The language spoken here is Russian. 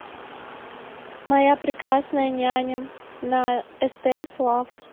моя прекрасная няня на стс лав